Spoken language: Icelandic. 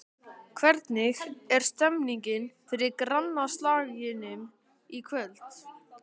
Hvernig er stemningin fyrir grannaslagnum í kvöld?